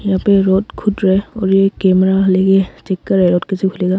यहा पर रोड खुद रहा है। और एक कैमरा लेकर चेक कर रहा है और कैसे खुलेगा।